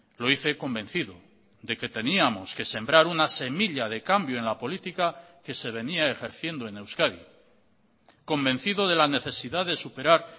lo hice convencido de que teníamos que sembrar una semilla de cambio en la política que se venía ejerciendo en euskadi convencido de la necesidad de superar